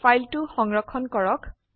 ফাইলটো সংৰক্ষণ কৰক